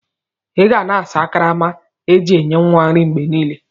Iga na asa akarama eji enye nwa nri mgbe nile.!!